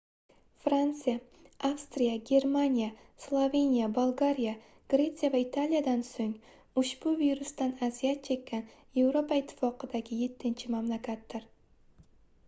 fransiya avstriya germaniya sloveniya bolgariya gretsiya va italiyadan soʻng ushbu virsdan aziyat chekkan yevropa ittifoqidagi yettinchi mamlakatdir